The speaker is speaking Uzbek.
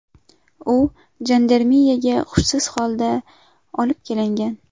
U jandarmeriyaga hushsiz holda olib kelingan.